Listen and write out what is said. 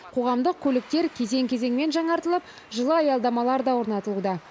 қоғамдық көліктер кезең кезеңмен жаңартылып жылы аялдамалар да орнатылуда